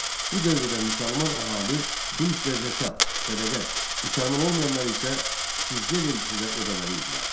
Bu dövrdə müsəlman əhali xüms və zəkat, sədəqə, müsəlman olmayanlar isə ciziyə vergisi də ödəməlidirlər.